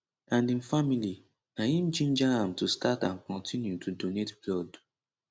and im family na im ginger am to start and kontinu to donate blood